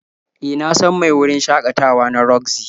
E, na san mai wurin shakatawa na roxy.